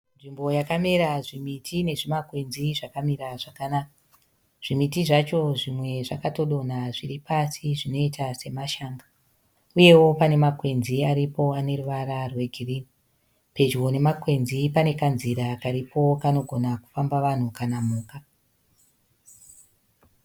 Nzvimbo yakamera zvimiti nezvimakwenzi zvakamira zvakanaka. Zvimiti zvacho zvimwe zvakatodonha zviri pasi zvinoita semashanga. Uyewo pane makwenzi aripo ane ruvara rwegirini. Pedyo nemakwenzi pane kanzira karipo kanogona kufamba vanhu kana mhuka.